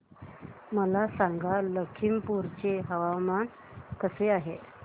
मला सांगा लखीमपुर चे हवामान कसे आहे